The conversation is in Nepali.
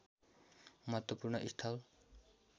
महत्त्वपूर्ण स्थल